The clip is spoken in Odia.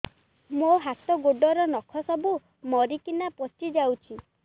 ମୋ ହାତ ଗୋଡର ନଖ ସବୁ ମରିକିନା ପଚି ଯାଉଛି